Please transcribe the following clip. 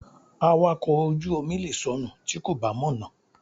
Awakọ̀ ojú omi lè sọnù tí kò bá mọ̀nà.